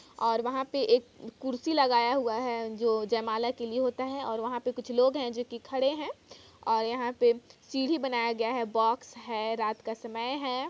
और वहाँ पे एक कुर्सी लगाया हुआ हैं जो जाइमाला के लिए होते हैंऔर पे कुछ लोग हैं जो खड़े हुए हैंऔर यहाँ पे सीढ़ी बनाया गया हैं बॉक्स हैं रात का समय हैं।